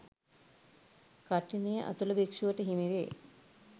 කඨිනය අතුල භික්‍ෂුවට හිමිවේ.